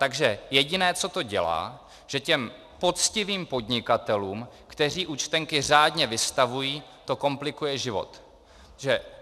Takže jediné, co to dělá, že těm poctivým podnikatelům, kteří účtenky řádně vystavují, to komplikuje život.